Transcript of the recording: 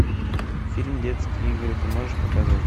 фильм детские игры ты можешь показать